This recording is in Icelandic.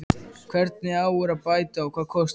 Hvernig á úr að bæta og hvað kostar það?